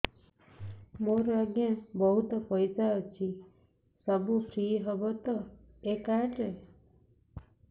ମୋର ଆଜ୍ଞା ବହୁତ ପଇସା ଅଛି ସବୁ ଫ୍ରି ହବ ତ ଏ କାର୍ଡ ରେ